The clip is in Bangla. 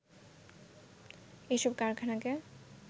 এসব কারখানাকে